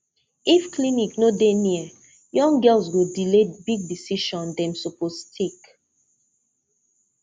if clinic no dey near young girls go delay big decision dem suppose take